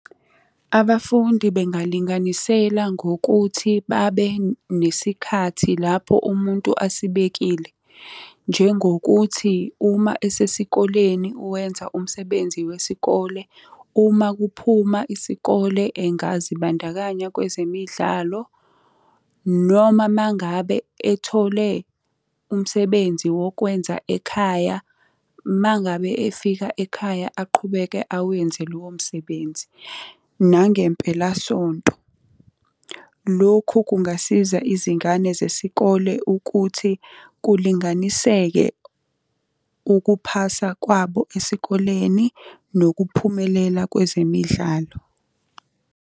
Abafundi bengalinganisela ngokuthi babe nesikhathi lapho umuntu asibekile. Njengokuthi uma esesikoleni wenza umsebenzi wesikole, uma kuphuma isikole engazibandakanya kwezemidlalo, noma uma ngabe ethole umsebenzi wokwenza ekhaya, uma ngabe efika ekhaya aqhubeke awenze lowo msebenzi, nangempelasonto. Lokhu kungasiza izingane zesikole ukuthi kulinganiseke ukuphasa kwabo esikoleni nokuphumelela kwezemidlalo.